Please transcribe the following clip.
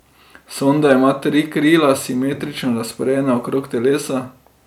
Sonda ima tri krila, simetrično razporejena okrog telesa.